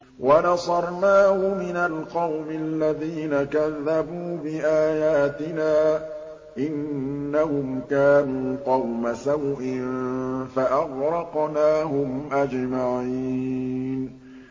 وَنَصَرْنَاهُ مِنَ الْقَوْمِ الَّذِينَ كَذَّبُوا بِآيَاتِنَا ۚ إِنَّهُمْ كَانُوا قَوْمَ سَوْءٍ فَأَغْرَقْنَاهُمْ أَجْمَعِينَ